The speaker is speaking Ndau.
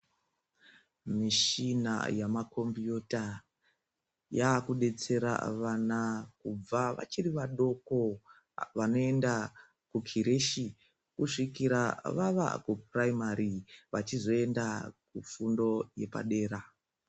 Mishina yamakombiyuta yaakudetsera vana kubva vachiri vadoko vanoenda kukireshi kusvikira vava kupuraimari vachizoenda kufundo yepadera.